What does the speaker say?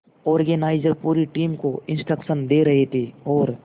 organiser पूरी team को instruction दे रहे थे और